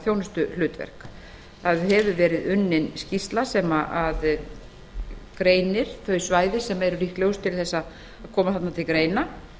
þjónustuhlutverk unnin hefur verið skýrsla þar sem greind eru svæði sem líklegust eru til að koma þarna til greina